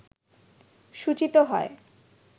সূচীত হয়